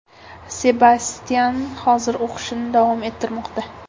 Sebastyan hozirda o‘qishini davom ettirmoqda.